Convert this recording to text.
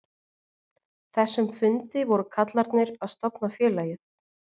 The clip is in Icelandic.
þessum fundi voru kallarnir að stofna félagið.